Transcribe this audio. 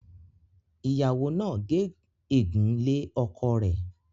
ìyàwó nà gé egun lẹ́ ọkọ rẹ.